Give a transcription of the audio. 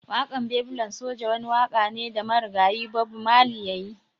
Wakan Babylon soja wani waka ne da marigayi Bob Marley ya yi.